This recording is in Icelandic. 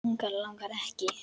Langar, langar ekki.